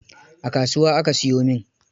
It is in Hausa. A kasuwa aka siyo min.